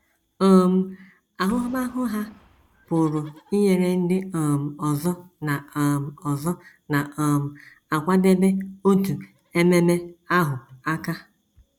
um Ahụmahụ ha pụrụ inyere ndị um ọzọ na um ọzọ na um - akwadebe otu ememe ahụ aka.